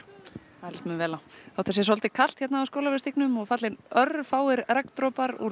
það líst mér vel á þótt það sé svolítið kalt hérna á Skólavörðustígnum og fallnir örfáir regndropar úr